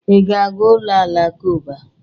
Ị ga-aga ụlọ alakụba?